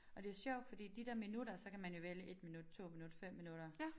Og det sjovt fordi de der minutter så kan man jo vælge 1 minut 2 minut 5 minutter